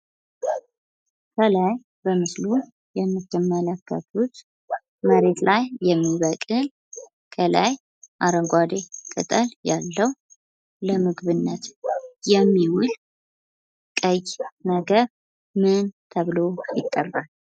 ከላይ በምስሉ የምትመለከቱት መሬት ላይ የሚበቅል ከላይ አረንጓዴ ቅጠል ያለው ለምግብነት የሚውል ቀይ ነገር ምን ተብሎ ይጠራል?